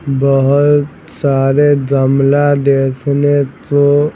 बहुत सारे गमला देखने तो--